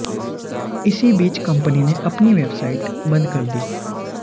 इसी बीच कंपनी ने अपनी बेवसाइट बंद कर दी